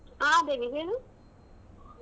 ಆಹ್ ದೇವಿ ಹೇಳು?